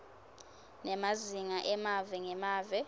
nemazinga emave ngemave